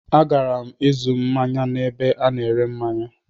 A gara'm ịzụ manye na ebe a na ere manye.